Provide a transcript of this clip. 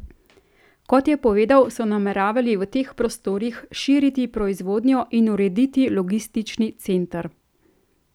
Kot je povedal, so nameravali v teh prostorih štiri proizvodnjo in urediti logistični center.